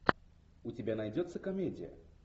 у тебя найдется комедия